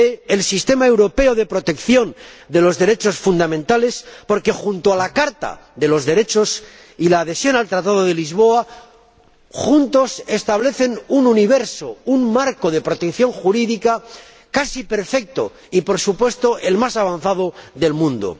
del sistema europeo de protección de los derechos fundamentales, porque, junto a la Carta de los Derechos y el Tratado de Lisboa, establece un universo, un marco de protección jurídica casi perfecto y, por supuesto, el más avanzado del mundo.